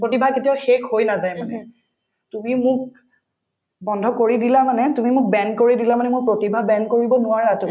প্ৰতিভা কেতিয়াও শেষ হৈ নাযায় মানে তুমি মোক বন্ধ কৰি দিলা মানে তুমি মোক band কৰি দিলা মানে মোৰ প্ৰতিভাক band কৰিব নোৱাৰা তুমি